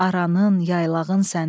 Aranın, yaylağın sənin.